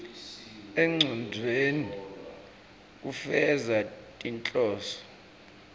engcondvweni kufeza tinhloso